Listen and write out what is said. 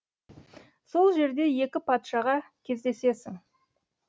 сол жерде екі патшаға кездесесің